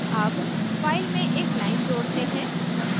add file में एक line जोड़ते हैं